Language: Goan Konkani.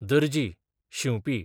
दर्जी, शिंवपी